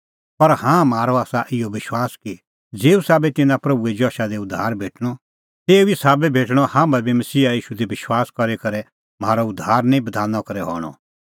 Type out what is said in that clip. पर हाँ म्हारअ आसा इहअ विश्वास कि ज़ेऊ साबै तिन्नां प्रभूए जशा दी उद्धार भेटणअ तेऊ ई साबै भेटणअ हाम्हां बी मसीहा ईशू दी विश्वास करी करै म्हारअ उद्धार निं बधाना करै हणअ